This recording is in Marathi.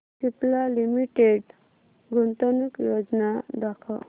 सिप्ला लिमिटेड गुंतवणूक योजना दाखव